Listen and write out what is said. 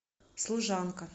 служанка